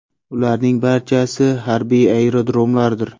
Ularning barchasi harbiy aerodromlardir.